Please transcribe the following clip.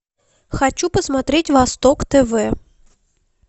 хочу посмотреть восток тв